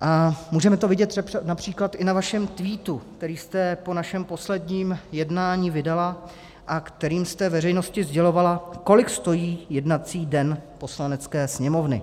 a můžeme to vidět například i na vašem tweetu, který jste po našem posledním jednání vydala a kterým jste veřejnosti sdělovala, kolik stojí jednací den Poslanecké sněmovny.